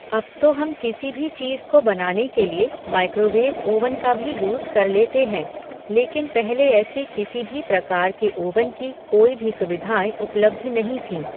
अब तो हम किसी भी चीज़ को बनाने के लिए माइक्रोवेव ओवन का भी यूज़ कर लेते हैं लेकिन पहले ऐसे किसी भी प्रकार के ओवन की कोई भी सुविधाऐं उप्लब्ध नहीं थीं।